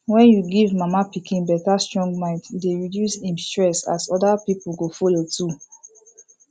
when you give mama pikin better strong mind e dey reduce im stress as other people go follow too